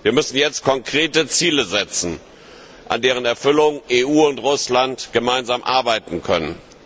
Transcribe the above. Wir müssen jetzt konkrete Ziele setzen, an deren Erfüllung die EU und Russland gemeinsam arbeiten können.